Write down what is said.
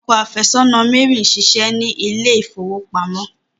Ọkọ afesona Mary n ṣiṣé ni ilé ifowopamọ.